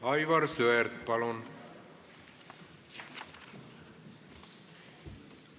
Aivar Sõerd, palun!